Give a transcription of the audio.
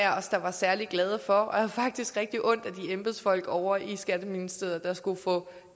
os særlig glade for og jeg havde faktisk rigtig ondt af de embedsfolk ovre i skatteministeriet der skulle få